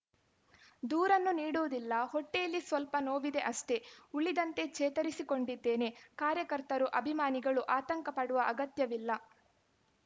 ದೂರನ್ನೂ ನೀಡುವುದಿಲ್ಲ ಹೊಟ್ಟೆಯಲ್ಲಿ ಸ್ವಲ್ಪ ನೋವಿದೆ ಅಷ್ಟೇ ಉಳಿದಂತೆ ಚೇತರಿಸಿಕೊಂಡಿದ್ದೇನೆ ಕಾರ್ಯಕರ್ತರು ಅಭಿಮಾನಿಗಳು ಆತಂಕ ಪಡುವ ಅಗತ್ಯವಿಲ್ಲ